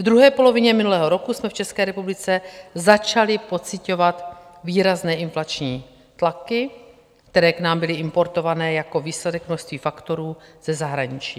V druhé polovině minulého roku jsme v České republice začali pociťovat výrazné inflační tlaky, které k nám byly importovány jako výsledek množství faktorů ze zahraničí.